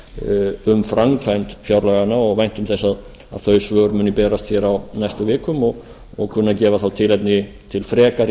um framkvæmd fjárlaganna og væntum þess að þau svör muni berast á næstu vikum og kunni að gefa þá tilefni til frekari